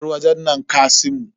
Bar wajen nan kasimu.